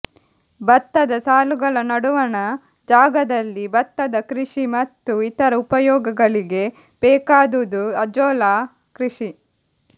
ಭತ್ತದ ಸಾಲುಗಳ ನಡುವಣ ಜಾಗದಲ್ಲಿ ಭತ್ತದ ಕೃಷಿ ಮತ್ತು ಇತರ ಉಪಯೋಗಗಳಿಗೆ ಬೇಕಾದುದು ಅಜೋಲಾ ಕೃಷಿ